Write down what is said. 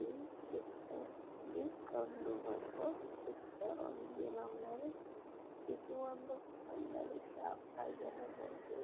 ಈ ಚಿತ್ರದಲ್ಲಿ ಕಂಡು ಬರುವ ಚಿತ್ರ ಏನೆಂದರೆ ಇದು ಒಂದು ಅಂಗಡಿ ಶಾಪ್ ಆಗಿರಬಹುದು.